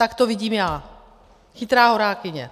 Tak to vidím já, chytrá horákyně.